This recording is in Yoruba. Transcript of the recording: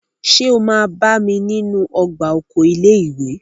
Ṣé o máa bá mi nínú ọgbà oko ilé ìwé?